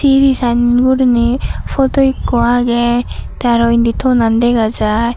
iri san gurinei poto ekko agey te araw indi tonan dega jai.